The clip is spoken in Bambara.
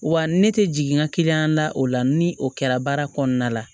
Wa ne tɛ jigin n ka da o la ni o kɛra baara kɔnɔna la